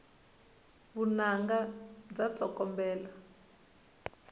vunanga bya tsokombela